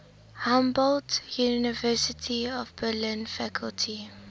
humboldt university of berlin faculty